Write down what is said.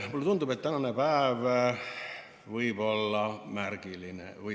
Mulle tundub, et tänane päev või tänane öö võib olla märgiline.